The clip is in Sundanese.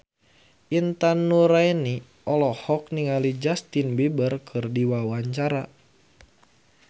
Intan Nuraini olohok ningali Justin Beiber keur diwawancara